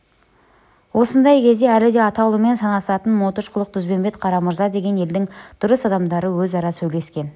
осындай кезде әлі де ата ұлымен санасатын мотыш құлық дүзбембет қарамырза деген елдің дұрыс адамдары өзара сөйлескен